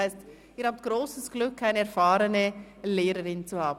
Sie haben grosses Glück, eine erfahrene Lehrerin zu haben.